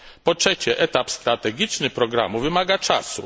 Po trzecie, etap strategiczny programu wymaga czasu.